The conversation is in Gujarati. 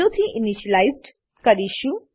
થી ઈનીશીલાઈઝડ કરીશું